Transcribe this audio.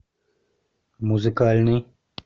музыкальный